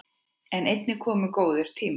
En einnig komu góðir tímar.